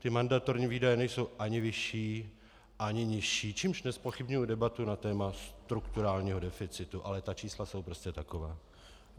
Ty mandatorní výdaje nejsou ani vyšší ani nižší, čímž nezpochybňuji debatu na téma strukturálního deficitu, ale ta čísla jsou prostě taková.